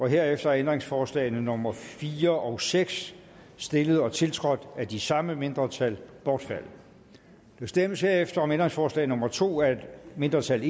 herefter er ændringsforslagene nummer fire og seks stillet og tiltrådt af de samme mindretal bortfaldet der stemmes herefter om ændringsforslag nummer to af et mindretal